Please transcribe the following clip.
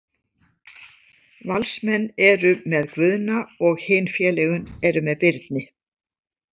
Valsmenn eru með Guðna og hin félögin eru með Birni.